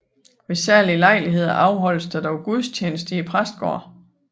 Ved særlige lejligheder afholdes der dog gudstjeneste i præstegården